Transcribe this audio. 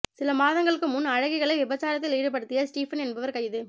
சில மாதங்களுக்கு முன் அழகிகளை விபச்சாரத்தில் ஈடுபடுத்திய ஸ்டீபன் என்பவர் கைது